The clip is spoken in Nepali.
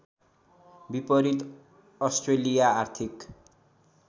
विपरीत अस्ट्रेलिया आर्थिक